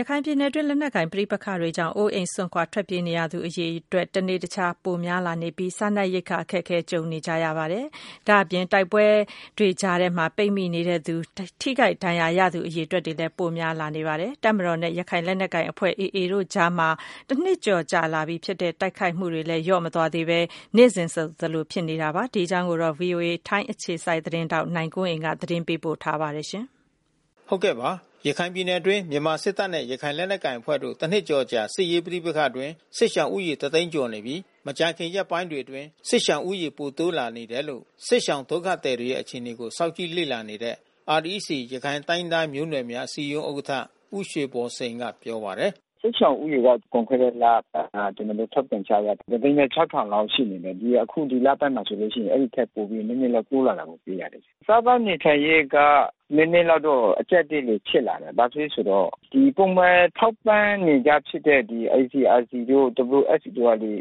ရခိုင်ပြည်နယ်တွင်း လက်နက်ကိုင် ပဋိက္ခတွေကြောင့် အိုးအိမ်စွန့် ထွက်ပြေးနေရသူအရေအတွက် တနေ့တခြား ပိုများလာနေပြီး စားနပ်ရိက္ခာအခက်အခဲ ကြုံနေကြရပါတယ်။ ဒါ့အပြင် တိုက်ပွဲတွေကြားထဲမှာ ပိတ်မိနေသူ၊ ထိခိုက်ဒဏ်ရာရသူူ အရေအတွက်လည်း ပိုများလာပါတယ်။ တပ်မတော်နဲ့ ရခိုင်လက်နက်ကိုင်အဖွဲ့ AA တို့ကြားမှာ တနှစ်ကျော် ကြာလာပြီဖြစ်တဲ့ တိုက်ခိုက်မှုတွေကလည်း လျော့မသွားသေးဘဲ နေ့စဉ်လို ဆက်ဖြစ်နေဆဲပါ။ ဒီအကြောင်း ဗွီအိုအေ ထိုင်းအခြေစိုက်သတင်းထောက် နိုင်ကွန်းအိမ်က သတင်းပေးပို့ထားပါတယ်။ ရခိုင်ပြည်နယ်အတွင်း မြန်မာစစ်တပ်နဲ့ ရခိုင်လက်ကိုင်အဖွဲ့တို့ တနှစ်ကျော်အကြာ စစ်ရေးပဋိပက္ခအတွင်း စစ်ရှောင်ဦးရေက တသိန်းကျော်နေပြီး မကြာခင် ရက်ပိုင်းတွေ အတွင်း စစ်ရှောင်ဦးရေ ပိုတိုးလာနေတယ်လို့ စစ်ရှောင်ဒုက္ခသည်တွေရဲ့အခြေအနေကို စောင့်ကြည့်လေ့လာနေတဲ့ REC ရခိုင်တိုင်းရင်းသား မျိုးနွယ်များ အစည်းအရုံး ဥက္ကဌ ဦးရွှေဘော်စိန်က ပြောပါတယ်။ လွန်ခဲ့တဲ့လ ကျနော်တို့ ထုတ်ပြန်ချက်အရ ၁၀၆,၀၀၀ လောက် ရှိနေတယ်။ ဒီအခု ဒီလဘက်မှာဆိုရင် အဲဒီထက် နည်းနည်းလောက် တိုးလာတာတွေ့ရတယ်။ စားသောက်ေနေထိုင်ရေးက နည်းနည်းလောက်တော့ အကျပ်အတည်းတွေ ဖြစ်လာတယ်။ ဘာဖြစ်လဲဆိုတော့ ပုံမှန်ထောက်ပံ့နေကြဖြစ်တဲ့ ICRC တို့ WFP တို့က ဒီ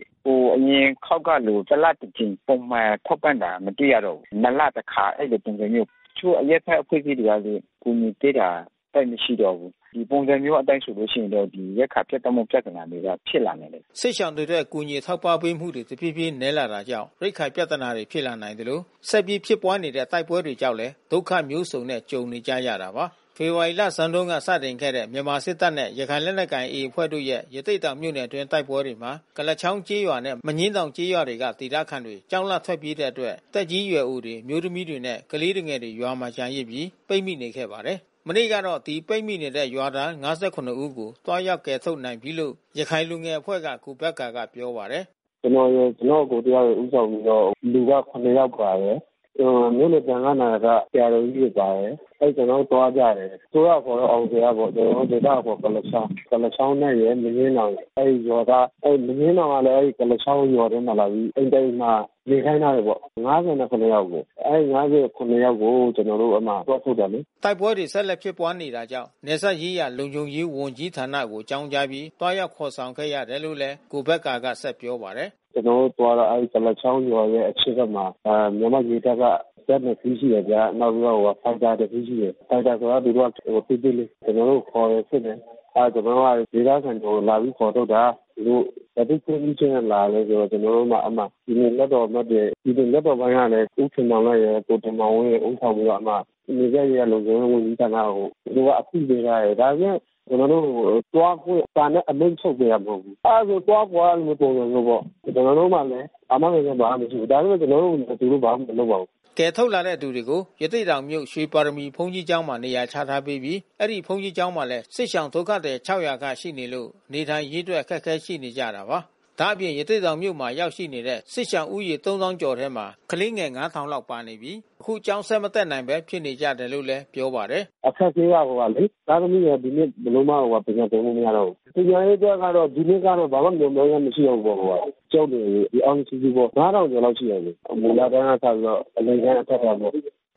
အရင် အခေါက်ကလို တလတကြိမ် ထောက်ပံ့တာမတွေ့ရတော့ဘူး။ နှစ်လတခါ ပုံစံမျိုး။ တချို့ အရပ်ဘက် အဖွဲ့အစည်းတွေကလည်း အကူညီပေးတာ သိပ်မရှိတော့ဘုူး။ ဒီပုံစံမျိုးအတိုင်း ဆိုလို့ရှိရင်တော့ ရိက္ခာပြတ်တောက်မဲ့ ပြဿနာတွေက စစ်ရှောင်တွေအတွက် အကူအညီ အထောက်အပံ့ပေးမှုတွေ တဖြေးဖြေးနည်းလာနေတာကြောင့် ရိက္ခာ ပြဿနာ ဖြစ်လာနိုင်သလို ဆက်ပြီး ဖြစ်ပွါးနေတဲ့ တိုက်ပွဲ တွေကြောင့်လည်း ဒုက္ခ မျိုးစုံနဲ့ ကြုံနေကြရတာပါ။ ဖေဖေါ်ဝါရီလဆန်းတုန်း စတင်ခဲ့တဲ့ မြန်မာစစ်တပ်နဲ့ ရခိုင်လက်နက်ကိုင် AA အဖွဲ့တို့ရဲ့ ရသေ့တောင် မြို့နယ်တွင်းက တိုက်ပွဲတွေမှာ ကုလားချောင်းကျေးရွာနဲ့ မညင်းတောင်ကျေးရွာတွေက ဒေသခံတွေ ကြောက်လန့်ထွက်ပြေးတဲ့အတွက် သက်ကြီးရွယ်အိုတွေ၊ အမျိုးသမီးတွေနဲ့ ကလေးငယ် တွေ ရွာထဲမှာ ကျန်ရစ်ပြီး ပိတ်မိနေခဲ့ပါတယ်။ မနေ့ကတော့ ဒီ ပိတ်မိနေတဲ့ ရွာသား ၅၇ ဦး ကို သွားရောက်ကယ်ထုတ် နိုင်ပြီလို့ ရခိုင်လူငယ် အဖွဲ့က ကိုဘက္ကာက ပြောပါတယ်။ ကျနော့်အကို တယောက်ရယ် ဦးဆောင်ပြီးတော့ လူက၇ ယောက်ပါတယ်။ မြို့နယ်သံဃာ့နာယက ဆရာတော်ကြီးတွေ ပါတယ်။ ကျနော်တို့သွားကြတယ်။ အစိုးရအခေါ်တော့ အောင်ဇေယျပေါ့။ ဒေသအခေါ်ကုလား ချောင်း။ ကုလားချောင်းရယ်၊ မညှင်းတောင်ရယ်။ အဲဒီရွာက။ အဲဒီမညှင်းတောင်ကလည်း ကုလားချောင်းရွာထဲမှာ လာပြီး အိမ်တအိမ်မှာ နေခိုင်းထားတယ်ပေါ့။ ၅၇ ယောက်အကို။ အဲဒီ ၅၇ ယောက်ကို ကျနော်တို့အဲဒီမှာ သွားထုတ်တယ်လေ။" တိုက်ပွဲတွေ ဆက်လက် ဖြစ်ပွားနေတာကြောင့် နယ်စပ်ရေးရာ လုံခြုံရေး ဝန်ကြီးဌာနကို အကြောင်းကြားပြီး သွားရောက် ခေါ်ဆောင်ခဲ့ရတယ်လို့ လည်း ကိုဘက္ကာကဆက်ပြောပါတယ်။ အဲဒီကုလားချောင်းရွာရဲ့အရှေ့ဖက်မှာ မြန်မာရေတပ်က ဇက် ၂ စီး ရှိတယ်ဗျာ။ နောက်ပြီး တော့ ဖိုက်တာတစီးရှိတယ်။ ဖိုက်တာဆိုတာကသူတို့ စစ်ဆေးလေ့ ရှိတယ်။ ကျနော်တို့ကိုခေါ်တယ်။ စစ်တယ်။ ကျနော်တို့က ဒေသခံတွေကို လာပြီးခေါ်ထုတ် တာ။ သူတို့ဘယ်သူ့ခွင့်ပြုချက်နဲ့လာသလည်းဆိုတော့ ကျနော်တို့ က အဲဒီမှာ ပြည်နယ် လွှတ်တော်အမတ်တွေ ဒီလိုလွှတ်တော်ပိုင်းကလည်း ဦးခင်မောင်လတ်ရယ် ကိုတင်မောင်ဝင်း ရယ် ဦးဆောင်ပြီးတော့ အဲဒီမှာ နယ်စပ်ရေးရာ လုံခြုံရေး ဝန်ကြီးဌာနကို အသိပေးထားတယ်။ ဒါပေမဲ့ ကျနော်တို့ကို သွားခွင့်စာနဲ့ အမိန့်ထုတ်ပေးထားတာ မဟုတ်ဘူး။ အဲဒီလိုဆိုသွားကွာဆိုတဲ့ပုံစံမျိုးပေါ့။ ကျနော်တို့မှာလည်း အာမခံချက် ဘာမှ မရှိဘူး။ ဒါပေမဲ့ကျနော်တို့ကို သူတို့ဘာမှမလုပ်ပါဘူး။ ကယ်ထုတ်လာတဲ့သူတွေကို ရသေ့တောင်မြို့ ရွှေပါရမီဘုန်းကြီးကျောင်းမှာ နေရာချထားပေးပြီး အဲဒီဘုန်းကြီး ကျောင်းမှာလည်း စစ်ဘေးရှောင်ဒုက္ခသည် ၆၀၀ ခန့်ရှိနေလို့ နေထိုင်ရေး အတွက် အခက်ခဲ ရှိနေကြတာပါ။ ဒါ့အပြင် ရသေ့တောင်မြို့မှာ ရောက်နေတဲ့ စစ်ရှောင်ဦးရေ၃၀,၀၀၀ ကျော် ထဲမှာ ကလေးငယ် ၅,၀၀၀ လောက်ပါနေပြီး သူတို့တွေဟာ အခု ကျောင်းဆက် မတက်နိုင်ပဲ ဖြစ်နေကြတယ် လို့လည်း ပြောပါတယ်။ သားသမီးတွေက ဒီနှစ်ဘယ်လိုမှ ပညာသင်လို့မရတော့ဘူး။ ပညာရေးအတွက်ကတော့ ဒီနှစ်က တော့ ဘယ်လိုမှမျှော်မှန်းချက် မရှိတော့ဘူးပေါ့။ ကျောင်းနေအရွယ်အားလုံး စုစုပေါင်း ၅၀၀၀ ကျော်လောက်ရှိမယ်။ မူလတန်းက စပြီးတော့ အလယ်တန်း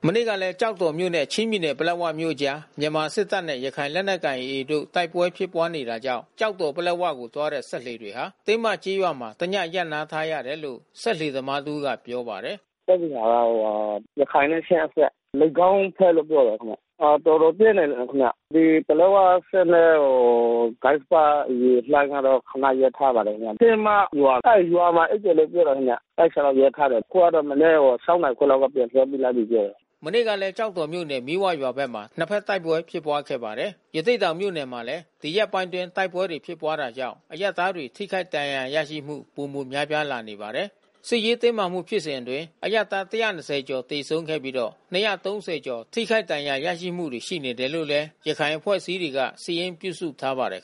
မနေ့ကလည်း ကျောက်တော်မြို့နဲ့ ချင်းပြည်နယ်ပလက်ဝမြို့အကြား မြန်မာ့တပ်မတော်နဲ့ ရခိုင်လက်နက်ကိုင် AA တို့ တိုက်ပွဲဖြစ်ပွါးနေတာကြောင့် ကျောက်တော်- ပလက်ဝကိုသွားတဲ့ စက်လှေတွေဟာ တင်းမကျေးရွာမှာ တည ရပ်နား ထားရတယ်လို့ စက်လှေသမား တဦးက ပြောပါတယ်။ ရခိုင်နဲ့ချင်းအစပ်။ လိပ်ခေါင်းဘက်လို့ပြောတယ်ခင်ဗျ။ တော်တော်ပြင်းတယ် ခင်ဗျ။ ပလက်ဝစက် နဲ့ ကစ္ဆပရေလှိုင်းကတော့ ခနရပ်ထားပါတယ် ခင်ဗျ။ တင်းမရွာ။ အဲဒီရွာမှာ အိပ်တယ်လို့ပြောပါတယ်ခင်ဗျ။ အဲဒီအထဲ မှာ ရပ်ထားတယ်။ အခုကတော့ မနက် ၆ နာရီခွဲကတော့ ပြန်လွှတ်ပေးလိုက်ပြီးပြောတယ်။ မနေ့ကလည်း ကျောက်တော်မြို့နယ် မီးဝရွာဖက်မှာ နှစ်ဘက်တိုက်ပွဲ ဖြစ်ပွားခဲ့ပါတယ်။ ရသေ့တောင်မြို့နယ်မှာလည်း ဒီရက်ပိုင်းအတွင်း တိုက်ပွဲတွေ ဖြစ်ပွားတာကြောင့် အရပ်သားတွေ ထိခိုက်ဒဏ်ရာ ရရှိမှု ပိုမိုများပြားလာနေပါတယ်။ စစ်ရေးတင်းမာမှုဖြစ်စဉ်အတွင်း အရပ်သား ၁၂၀ ကျော် သေဆုံးခဲ့ပြီးတော့ ၂၃၀ ကျော် ထိခိုက်ဒဏ်ရာ ရရှိမှုတွေ ရှိနေတယ်လို့လည်း ရခိုင်အဖွဲ့အစည်းတွေက စာရင်းပြုစုထားပါတယ်